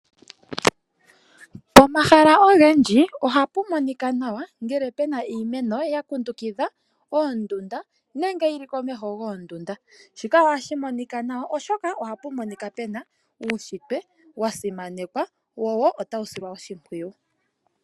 Pomahala ogendji oha pu monika nawa ngele pena iimeno yakundukitha oondunda nenge yi li komeho goondunda. Shika oha shi monika nawa oshoka oha pu monika pena uushitwe wa simanekwa wo ota wu silwa oshimpwuyu.